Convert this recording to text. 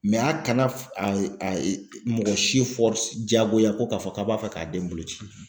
a kana a mɔgɔ si jagoya ko k'a fɔ k'a b'a fɛ k'a den boloci